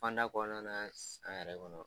Fan da kɔnɔna na san yɛrɛ kɔnɔ